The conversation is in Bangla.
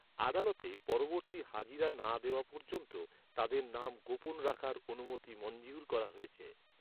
আদালতে পরবর্তী হাজিরা না দেওয়া পর্যন্ত, তাদের নাম গোপন রাখার অনুমতি মঞ্জুর করা হয়েছে।